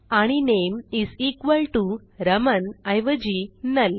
आणि नामे is equal to Raman ऐवजी नुल